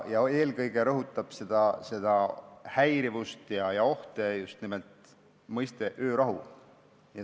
Eelkõige rõhutab seda häirivust ja neid ohte just nimelt mõiste "öörahu".